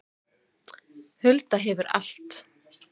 Hulda hefur allt